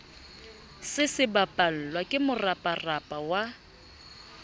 se sebapallwa ke moraparapa wa